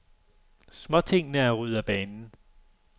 Småtingene er ryddet af banen.